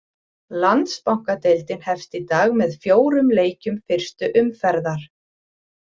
Landsbankadeildin hefst í dag með fjórum leikjum fyrstu umferðar.